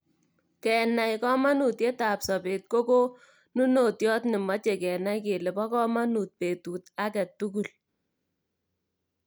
kenai komonutietab sobeet ko konunotioot nemochei keenai kele bo komonuut betut age tugul